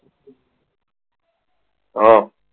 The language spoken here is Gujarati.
હા